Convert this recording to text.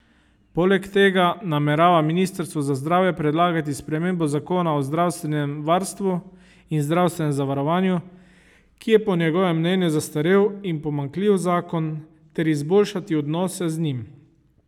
Poleg tega namerava ministrstvu za zdravje predlagati spremembo zakona o zdravstvenem varstvu in zdravstvenem zavarovanju, ki je po njegovem mnenju zastarel in pomanjkljiv zakon ter izboljšati odnose z njim.